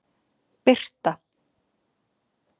Birta